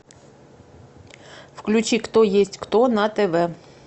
включи кто есть кто на тв